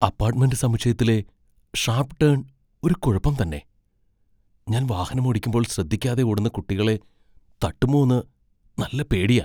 Apartment സമുച്ചയത്തിലെ sharp turn ഒരു കുഴപ്പം തന്നെ, ഞാൻ വാഹനമോടിക്കുമ്പോൾ ശ്രദ്ധിക്കാതെ ഓടുന്ന കുട്ടികളെ തട്ടുമോന്ന് നല്ല പേടിയാ.